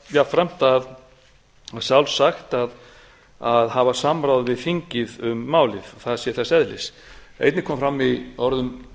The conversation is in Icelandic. jafnframt og sjálfsagt að hafa samráð við þingið um málið það sé þess eðlis einnig kom fram